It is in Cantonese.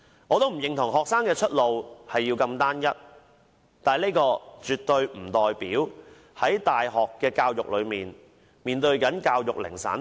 我不認同學生的出路要如此單一，但這絕對不代表他們接受大學教育時要面對教育零散化。